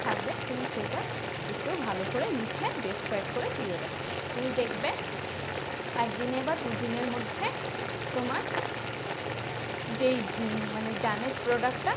থাকবে তুমি সেইটা একটু ভালো করে লিখে describe করে দিয়ে দেবে। তুমি দেখবে একদিনে বা দুদিনের মধ্যে তোমার যেই উম মানে damage product টা